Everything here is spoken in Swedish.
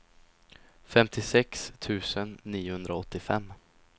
femtiosex tusen niohundraåttiofem